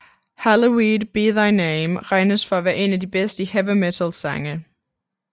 Hallowed Be Thy Name regnes for en af de bedste Heavy Metal sange